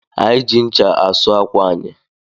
Anyị ji ncha asụ ákwà anyị